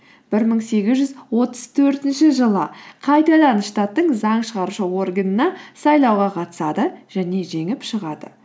бір мың сегіз жүз отыз төртінші жылы қайтадан штаттың заң шығарушы органына сайлауға қатысады және жеңіп шығады